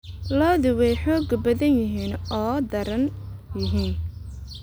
Lo'du waa xoog badan yihiin oo daran yihiin.